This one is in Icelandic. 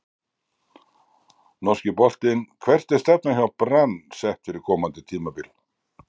Norski boltinn Hvert er stefnan hjá Brann sett fyrir komandi tímabil?